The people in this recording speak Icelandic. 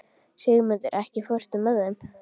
Sigurmundur, ekki fórstu með þeim?